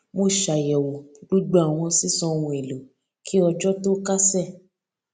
mo ṣàyẹwò gbogbo àwọn sísan ohun èlò kí ọjọ tó kásẹ